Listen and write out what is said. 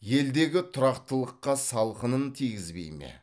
елдегі тұрақтылыққа салқынын тигізбей ме